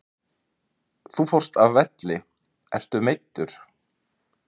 Þú fórst af velli, ertu meiddur?